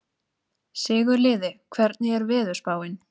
Sigurliði, hvernig er veðurspáin?